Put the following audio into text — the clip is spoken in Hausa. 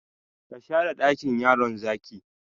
Ka share dakin yaron zaki?